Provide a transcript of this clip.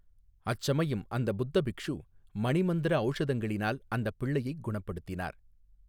அச்சமயம் அந்த புத்த பிக்ஷு மணிமந்திர ஔஷதங்களினால் அந்தப் பிள்ளையைக் குணப்படுத்தினார்.